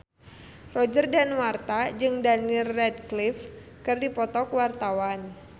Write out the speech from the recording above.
Roger Danuarta jeung Daniel Radcliffe keur dipoto ku wartawan